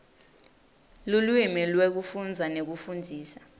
lulwimi lwekufundza nekufundzisa